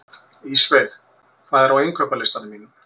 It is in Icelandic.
Ísveig, hvað er á innkaupalistanum mínum?